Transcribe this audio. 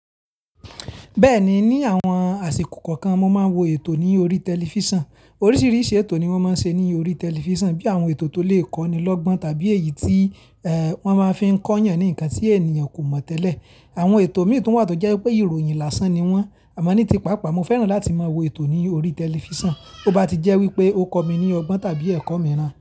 Bẹ́ẹ̀ni, ní àwọn àsìkò kọ̀ọ̀kan mo máa ń wo ètò ní orí tẹlifísàn. Oríṣiríṣi ètò ni wọ́n máa ń ṣe ní orí tẹlifísàn bí i àwọn ètò tó lè kọ́ ni lọ́gbọ́n tàbí èyí tí ẹ́ wọ́n máa ń fi kọ́ yàn ní nǹkan tí ènìyàn kò mọ̀ tẹ́lẹ̀. Àwọn ètò mìíràn tún wà tó jẹ́ wípé ìròyìn lásán ni wọ́n. Àmá ní tipápá mo fẹ́ràn láti máa wo ètò ní orí tẹlifísàn, ó bá ti jẹ́ wípé ó kọ́ mi ní ọgbọ́n tàbí ẹ̀kọ́ mìíràn.